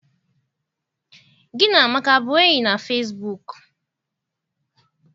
Gị na Amaka abụ enyi na fesibuuku?